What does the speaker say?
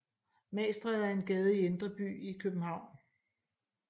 Magstræde er en gade i Indre By i København